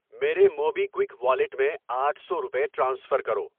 میرے MobiKwik wallet میں آٹھ سو روپے ٹرانسفر کرو۔